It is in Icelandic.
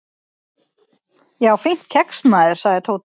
"""Já, fínt kex, maður sagði Tóti."""